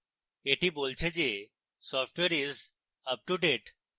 এটি বলছে যে software is up to date